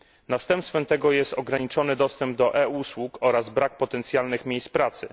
Następstwem tego jest ograniczony dostęp do e usług oraz brak potencjalnych miejsc pracy.